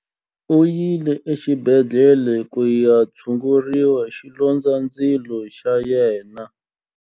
U yile exibedhlele ku ya tshungurisa xilondzandzilo xa yena.